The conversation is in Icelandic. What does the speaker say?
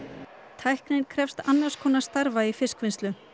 tæknin krefst annars konar starfa í fiskvinnslu